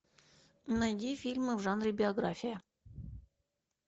найди фильмы в жанре биография